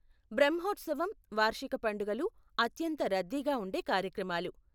బ్రహ్మోత్సవం, వార్షిక పండుగలు అత్యంత రద్దీగా ఉండే కార్యక్రమాలు.